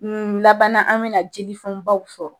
N laban na, an bɛna jelifon baw fɔ.